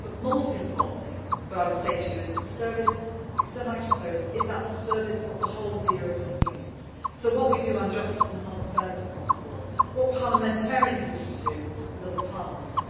But, most importantly, what I would say to you is that the External Action Service is at the service of the whole of the European Union. So, what we do on justice and home affairs across the world, what do parliamentarians wish to do with other parliaments?